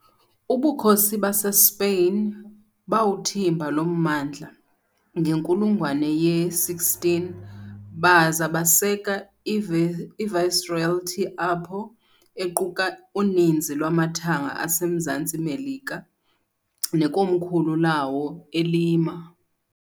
UBukhosi baseSpain bawuthimba lo mmandla ngenkulungwane ye-16 baza baseka i- Viceroyalty apho, equka uninzi lwamathanga aseMzantsi Melika, nekomkhulu lawo eLima.